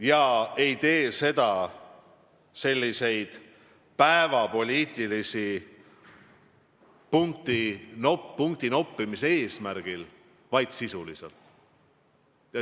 Ja me ei tee seda päevapoliitilise punktinoppimise eesmärgil, vaid tegutseme sisuliselt.